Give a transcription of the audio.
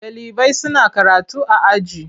Ɗalibai suna karatu a aji.